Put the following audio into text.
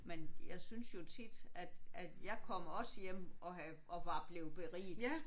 Men jeg synes jo tit at at jeg kom også hjem og havde og var blevet beriget